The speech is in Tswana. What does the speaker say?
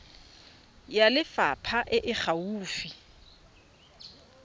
ya lefapha e e gaufi